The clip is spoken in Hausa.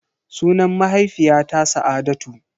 Sunan mahaifiyata Sa'adatu.